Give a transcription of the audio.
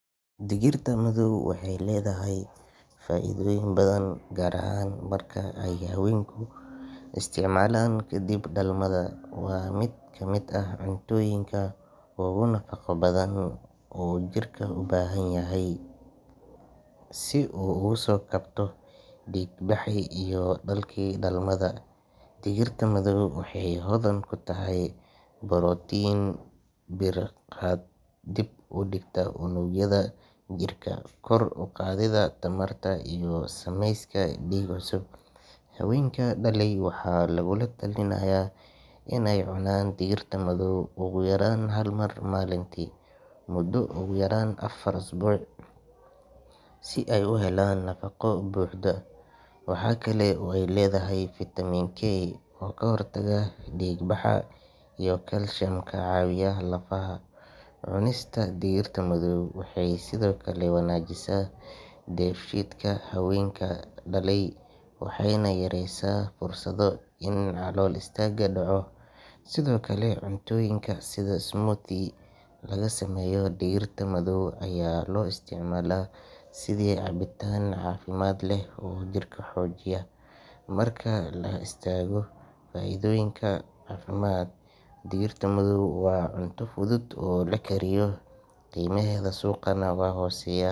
Digirta madow waxay leedahay faa'iidooyin badan, gaar ahaan marka ay haweenku isticmaalaan kadib dhalmada. Waa mid ka mid ah cuntooyinka ugu nafaqo badan oo uu jirka u baahan yahay si uu uga soo kabto dhiig-baxii iyo daalkii dhalmada. Digirta madow waxay hodan ku tahay borotiin, bir, fiitamiin B iyo folic acid kuwaas oo ka qeyb qaata dib u dhiska unugyada jirka, kor u qaadida tamarta iyo samayska dhiig cusub. Haweenka dhalay waxaa lagula talinayaa inay cunaan digirta madow ugu yaraan hal mar maalintii muddo ugu yaraan afar usbuuc si ay u helaan nafaaqo buuxda. Waxa kale oo ay leedahay fiitamiin K oo ka hortaga dhiig baxa iyo calcium ka caawiya lafaha. Cunista digirta madow waxay sidoo kale wanaajisaa dheefshiidka haweenka dhalay, waxayna yaraysaa fursada in calool istaag dhaco. Sidoo kale, cuntooyinka sida smoothie laga sameeyo digirta madow ayaa loo isticmaalaa sidii cabitaan caafimaad leh oo jirka xoojiya. Marka laga soo tago faa’iidooyinka caafimaad, digirta madow waa cunto fudud oo la kariyo, qiimaheeda suuqana waa hooseeyaa.